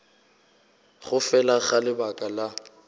go fela ga lebaka la